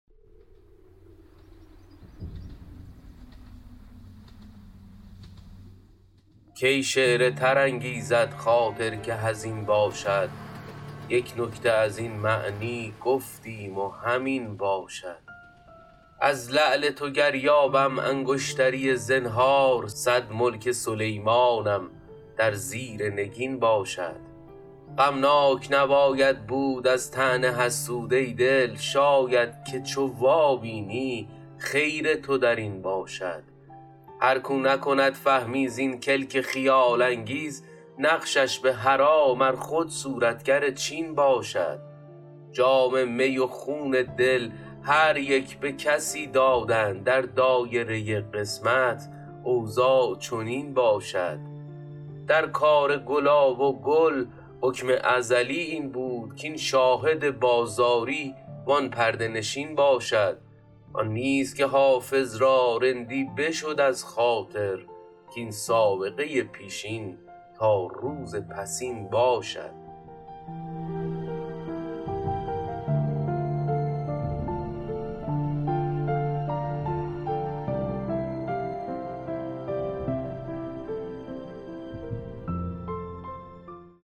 کی شعر تر انگیزد خاطر که حزین باشد یک نکته از این معنی گفتیم و همین باشد از لعل تو گر یابم انگشتری زنهار صد ملک سلیمانم در زیر نگین باشد غمناک نباید بود از طعن حسود ای دل شاید که چو وابینی خیر تو در این باشد هر کاو نکند فهمی زین کلک خیال انگیز نقشش به حرام ار خود صورتگر چین باشد جام می و خون دل هر یک به کسی دادند در دایره قسمت اوضاع چنین باشد در کار گلاب و گل حکم ازلی این بود کاین شاهد بازاری وان پرده نشین باشد آن نیست که حافظ را رندی بشد از خاطر کاین سابقه پیشین تا روز پسین باشد